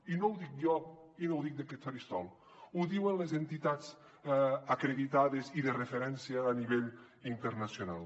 i no ho dic jo i no ho dic d’aquest faristol ho diuen les entitats acreditades i de referència a nivell internacional